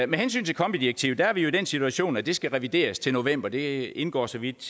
med hensyn til kombi direktivet er vi jo i den situation at det skal revideres til november det indgår så vidt